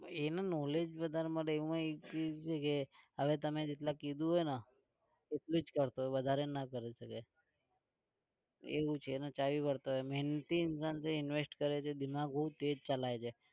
એનું knowledge વધારે મળે એવું નહીં તમે જેટલું કીધું હોય ને એટલુ જ કરતો હોય વધારે ના કરે કોઈ દિવસ એવું છે એનું મહેનતી इंसान છે invest કરે છે દિમાગ બહુ તેજ ચલાવે છે.